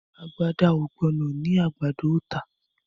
Àgbàdá o gbóná ní àgbàdo o tá